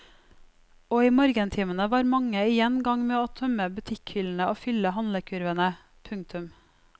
Og i morgentimene var mange igjen i gang med å tømme butikkhyllene og fylle handlekurvene. punktum